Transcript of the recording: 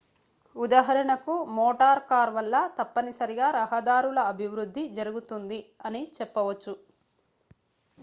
ఉదాహరణకు motor car వల్ల తప్పనిసరిగా రహదారుల అభివృద్ధి జరుగుతుంది అని చెప్పవచ్చు